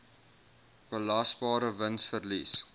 belasbare wins verlies